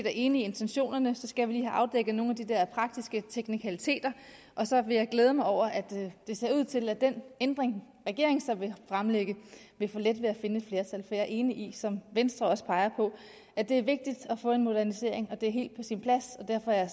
er enig i intentionerne skal vi lige have afdækket nogle af de der praktiske teknikaliteter og så vil jeg glæde mig over at det ser ud til at den ændring regeringen vil fremlægge vil få let ved at finde et flertal for er enig i som venstre også peger på at det er vigtigt at få en modernisering og det er helt på sin plads og derfor er